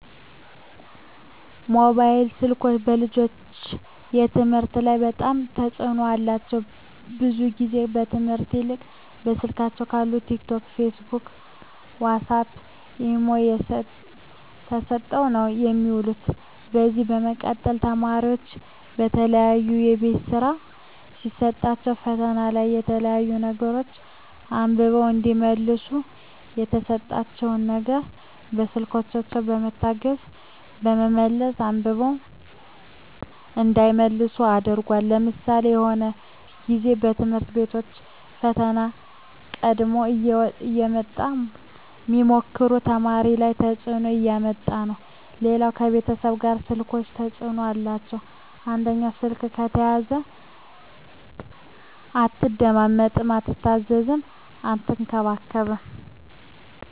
ሞባይል ስልኮች በልጆች ከትምህርት ላይ በጣም ተጽዕኖ አላቸው ብዙ ግዜ ከትምህርት ይልቅ ከስልካቸው ካለው ቲክ ቶክ ፊስቡክ ዋሳፕ ኢሞ ተሰጠው ነው የሚውሉ ከዚ በመቀጠል ተማሪዎች የተለያዩ የቤት ስራ ሲሰጣቸዉ ፈተና ላይ የተለያዩ ነገሮች አንብበው እዲመልሱ የተሰጣቸው ነገር በስልኮች በመታገዝ በመመለስ አንብበው እንዳይመልሱ አድርጓል ለምሳሌ የሆነ ግዜ በትምህርት ቤቶች ፈተና ቀድሞ እየወጣ ሚሞክሩ ተማሪዎች ላይ ተጽዕኖ እያመጣ ነበር ሌላው ከቤተሰብ ላይ ስልኮች ተጽዕኖ አላቸው አንደኛው ስልክ ከተያዘ አትደማመጥም አትታዘዝም አትከባበርም